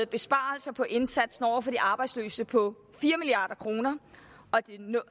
besparelser på indsatsen over for de arbejdsløse på fire milliard kroner